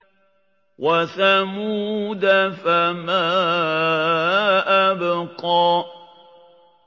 وَثَمُودَ فَمَا أَبْقَىٰ